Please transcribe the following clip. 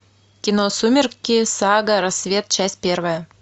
кино сумерки сага рассвет часть первая